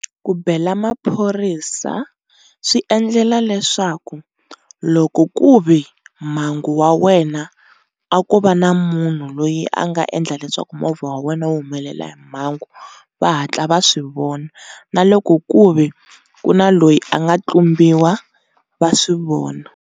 Ku bela maphorisa swi endlela leswaku loko ku ve mhangu wa wena a ko va na munhu loyi a nga endla leswaku movha wa wena u humelela hi mhangu va hatla va swivona na loko ku ve ku na loyi a nga tlumbiwa va swi vona.